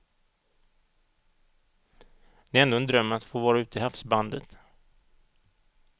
Det är ändå en dröm att få vara ute i havsbandet.